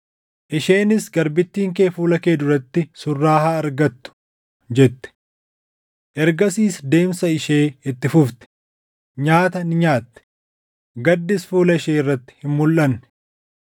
Isheenis, “Garbittiin kee fuula kee duratti surraa haa argattu” jette. Ergasiis deemsa ishee itti fufte; nyaata ni nyaatte; gaddis fuula ishee irratti hin mulʼanne.